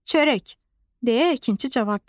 Çörək, deyə əkinçi cavab verdi.